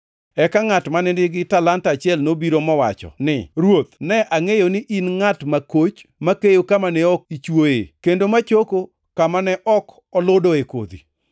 “Eka ngʼat mane nigi talanta achiel nobiro, mowacho ni, ‘Ruoth, ne angʼeyo ni in ngʼat makoch, ma keyo kama ne ok ichwoye, kendo ma choko kama ne ok aludoe kodhi.